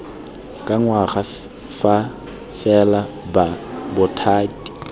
ka ngwaga fa fela bothati